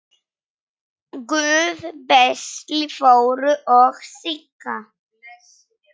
Guð blessi Þóru og Sigga.